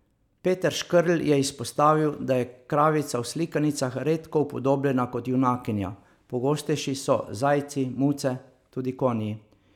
Peter Škerl je izpostavil, da je kravica v slikanicah redko upodobljena kot junakinja, pogostejši so zajci, muce, tudi konji.